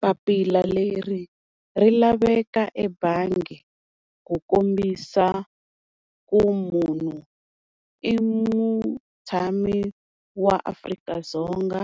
Papila leri ri laveka ebangi ku kombisa ku munhu i mutshami wa Afrika-Dzonga,